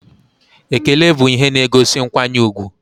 Ekele bụ ihe na-egosi nkwanye ùgwù